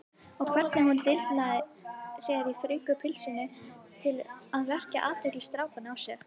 Og hvernig hún dillaði sér í þröngu pilsinu til að vekja athygli strákanna á sér!